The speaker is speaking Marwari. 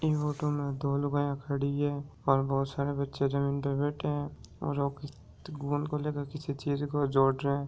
ई फोटो में दो लुगाया खड़ी है और बहुत सारे बच्चे जमीन पर बैठे है और वो गोद को लेके किसी चीज को जोड़ रहे है।